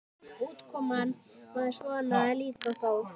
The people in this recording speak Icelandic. Útkoman var svona líka góð.